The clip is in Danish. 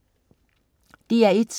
DR1: